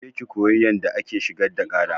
Ki je ki koyi yanda ake shigar da ƙara!